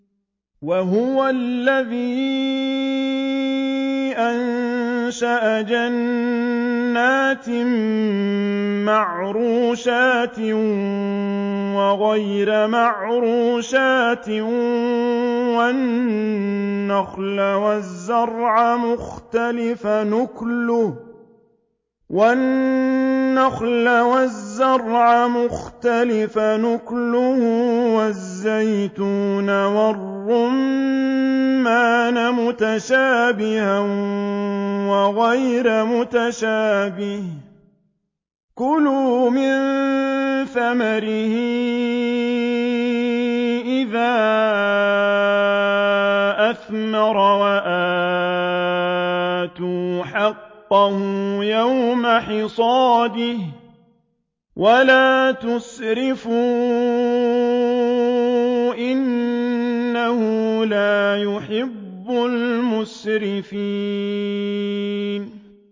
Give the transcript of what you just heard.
۞ وَهُوَ الَّذِي أَنشَأَ جَنَّاتٍ مَّعْرُوشَاتٍ وَغَيْرَ مَعْرُوشَاتٍ وَالنَّخْلَ وَالزَّرْعَ مُخْتَلِفًا أُكُلُهُ وَالزَّيْتُونَ وَالرُّمَّانَ مُتَشَابِهًا وَغَيْرَ مُتَشَابِهٍ ۚ كُلُوا مِن ثَمَرِهِ إِذَا أَثْمَرَ وَآتُوا حَقَّهُ يَوْمَ حَصَادِهِ ۖ وَلَا تُسْرِفُوا ۚ إِنَّهُ لَا يُحِبُّ الْمُسْرِفِينَ